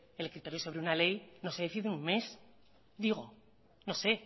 el criterio sobre una ley no se decide en un mes digo no sé